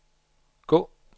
gå